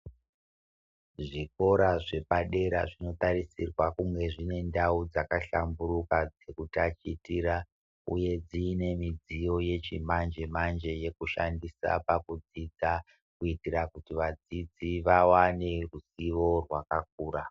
Zvikora zvepadera zvinotarisirwa kunge zvine ndau dzakahlamburuka dzekutachitira uye dzine midziyo yechimanje manje yekushandisa pakudzidza kuitira kuti vadzidzi vawane ruzivo rwakakura.